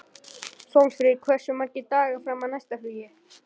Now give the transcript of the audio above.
Sólfríður, hversu margir dagar fram að næsta fríi?